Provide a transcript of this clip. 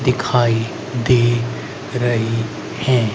दिखाई दे रही है।